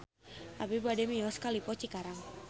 Abi bade mios ka Lippo Cikarang